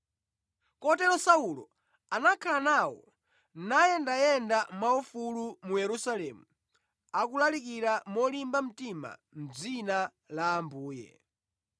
Kotero Saulo anakhala nawo nayendayenda mwaufulu mu Yerusalemu akulalikira molimba mtima mʼdzina la Ambuye.